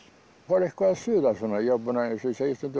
fór eitthvað að suða eins og ég segi stundum